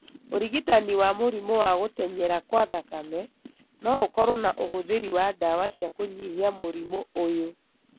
Ũrigitani wa mũrimũ wa gũtenyera kwa thakame no ũkorũo na ũhũthĩri wa ndawa cia kũnyihia mũrimũ ũyũ.